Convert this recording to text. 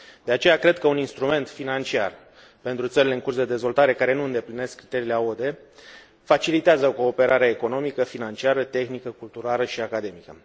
De aceea, cred că un instrument financiar pentru țările în curs de dezvoltare care nu îndeplinesc criteriile AOD facilitează cooperarea economică, financiară, tehnică, culturală și academică.